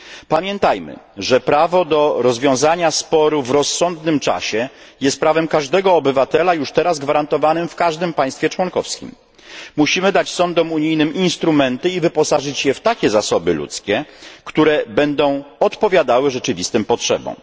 Pamiętajmy, że prawo do rozwiązania sporu w rozsądnym czasie jest prawem każdego obywatela już teraz gwarantowanym w każdym państwie członkowskim. Musimy dać sądom unijnym instrumenty i wyposażyć je w takie zasoby ludzkie, które będą odpowiadały rzeczywistym potrzebom.